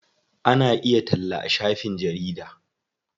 Ana iya talla a shafin jarida.